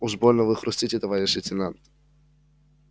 уж больно вы хрустите товарищ лейтенант